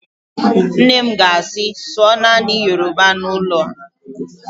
Nne m ga-asị, sụọ naanị Yoroba n'ụlọ a!